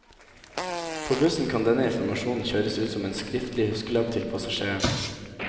På bussen kan denne informasjonen kjøres ut som en skriftlig huskelapp til passasjeren.